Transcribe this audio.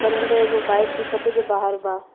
बनल में एगो बाइक दिखता जो बाहर बा।